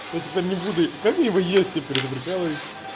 я теперь не буду как мне его есть теперь я прикалываюсь